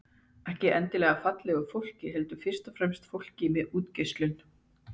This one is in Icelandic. Ekki endilega fallegu fólki heldur fyrst og fremst fólki með útgeislun.